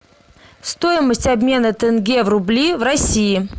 стоимость обмена тенге в рубли в россии